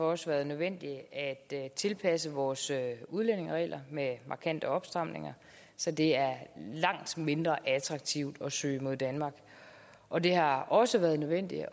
også været nødvendigt at tilpasse vores udlændingeregler med markante opstramninger så det er langt mindre attraktivt at søge mod danmark og det har også været nødvendigt